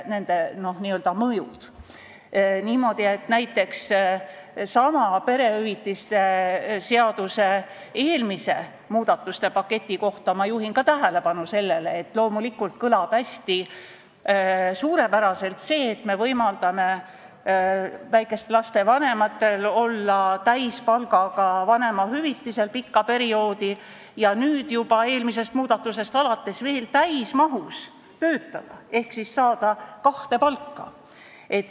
Näiteks juhin ma perehüvitiste seaduse eelmise muudatuste paketi puhul tähelepanu sellele, et loomulikult kõlab suurepäraselt see, et me võimaldame väikeste laste vanematel saada täispalga suurust vanemahüvitist pikal perioodil ja juba eelmisest muudatusest alates ka täismahus töötada ehk saada kahte palka.